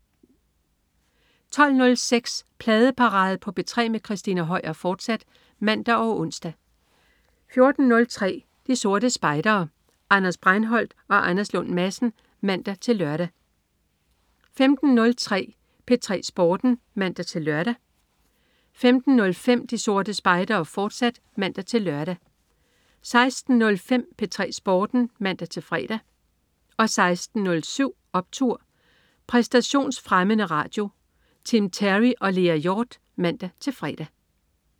12.06 Pladeparade på P3 med Christina Høier, fortsat (man og ons) 14.03 De Sorte Spejdere. Anders Breinholt og Anders Lund Madsen (man-lør) 15.03 P3 Sporten (man-lør) 15.05 De Sorte Spejdere, fortsat (man-lør) 16.05 P3 Sporten (man-fre) 16.07 Optur! Præstationsfremmende radio. Tim Terry og Lea Hjort (man-fre)